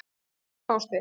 Hvar fást þeir?